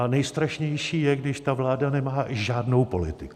A nejstrašnější je, když ta vláda nemá žádnou politiku.